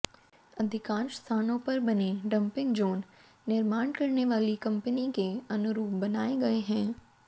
अधिकांश स्थानों पर बने डंपिंग जोन निर्माण करने वाली कंपनी के अनुरूप बनाए गए हैं